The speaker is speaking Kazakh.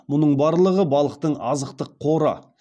мұның барлығы балықтың азықтық қоры